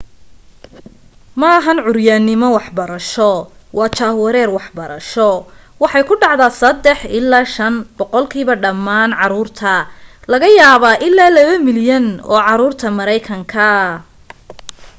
maahan cuuryanimo waxbarasho waa jahwareer waxbarasho waxa ay ku dhacdaa 3 ilaa 5 boqolkiiba dhammaan caruurta laga yaaba ilaa 2 milyan oo caruurta mareykanka